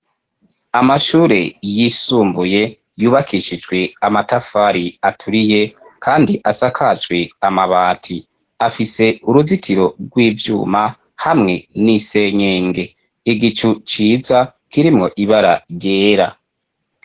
Amashure yisumbuye yubakishijwe amatafari aturiye, kandi asakajwe amabati afise uruzitiro rw'ivyuma hamwe n'isenyenge igicu ciza kirimwo ibara ryera.